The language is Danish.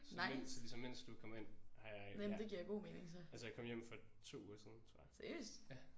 Så mens så ligesom mens du er kommet ind har jeg ja altså jeg kom hjem for 2 uger siden tror jeg ja